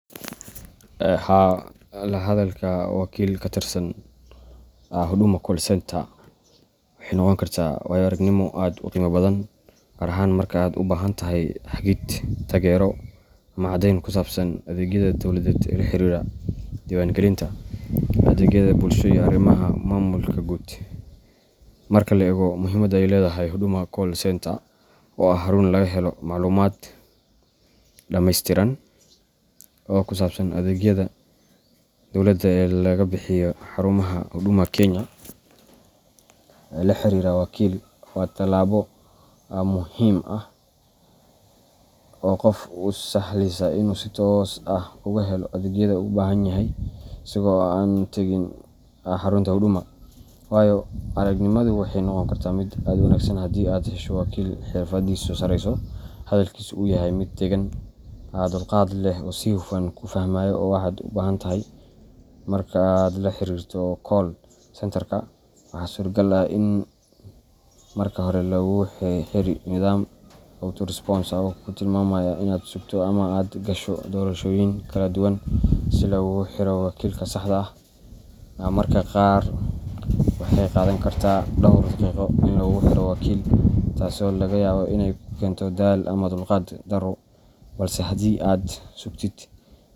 Haa, la hadalka wakiil ka tirsan Huduma Call Centre waxay noqon kartaa waayo-aragnimo aad u qiimo badan, gaar ahaan marka aad u baahan tahay hagid, taageero, ama caddeyn ku saabsan adeegyada dowladeed ee la xiriira diiwaangelinta, adeegyada bulshada, iyo arrimaha maamulka guud. Marka la eego muhiimadda ay leedahay Huduma Call Centre oo ah xarun laga helo macluumaad dhammaystiran oo ku saabsan adeegyada dowladda ee laga bixiyo xarumaha Huduma Kenya la xiriirka wakiil waa tallaabo muhiim ah oo qofka u sahlaysa in uu si toos ah uga helo adeegyada uu u baahan yahay isagoo aan tagin xarunta Huduma. Waayo-aragnimadu waxay noqon kartaa mid wanaagsan haddii aad hesho wakiil xirfadiisu sarreyso, hadalkiisu uu yahay mid deggan, dulqaad leh, oo si hufan ku fahmaya waxa aad uga baahantahay. Marka aad la xiriirto call centreka, waxaa suuragal ah in marka hore lagugu xiro nidaam auto-response ah oo kuu tilmaamaya inaad sugto ama aad gasho doorashooyin kala duwan si laguugu xiro wakiilka saxda ah. Mararka qaar waxay qaadan kartaa dhowr daqiiqo in lagu xiro wakiil, taasoo laga yaabo inay ku keento daal ama dulqaad darro, balse haddii aad sugtid.